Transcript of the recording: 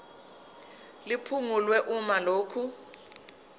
liphungulwe uma lokhu